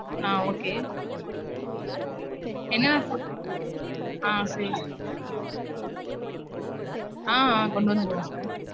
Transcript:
ஆஹ் okay என்னா food. ஆஹ் செறிங்க sir. ஆஹ் கொண்டு வந்துருவோம் sir.